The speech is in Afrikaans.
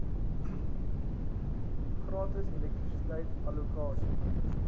gratis elektrisiteit allokasie